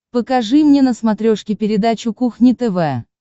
покажи мне на смотрешке передачу кухня тв